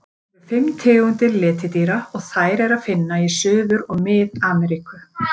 Til eru fimm tegundir letidýra og þær er að finna í Suður- og Mið-Ameríku.